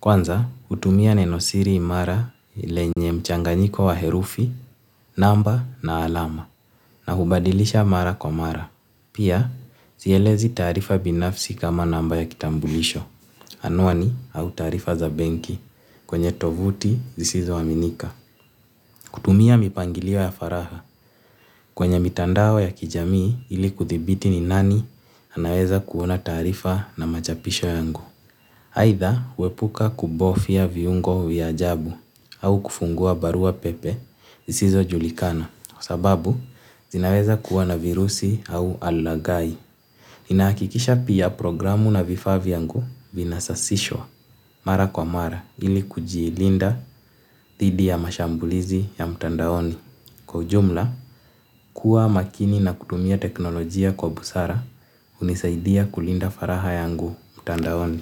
Kwanza hutumia nenosiri imara lenye mchanganyiko wa herufi namba na alama. Na hubadilisha mara kwa mara. Pia sielezi taarifa binafsi kama namba ya kitambulisho. Anwani au taarifa za benki kwenye tovuti zisizoaminika. Kutumia mipangilio ya faragha. Kwenye mitandao ya kijamii ili kuthibiti ni nani anaweza kuona taarifa na machapisho yangu. Aidha huepuka kubofya viungo vya ajabu au kufungua barua pepe zisizojulikana. Kwa sababu zinaweza kuona virusi au alagai. Ninahakikisha pia programu na vifaa vyangu vinasasishwa. Mara kwa mara ili kujiilinda dhidi ya mashambulizi ya mtandaoni. Kwa ujumla, kuwa makini na kutumia teknolojia kwa busara hunisaidia kulinda faragha yangu mtandaoni.